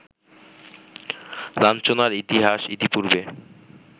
লাঞ্ছনার ইতিহাস ইতিপূর্বে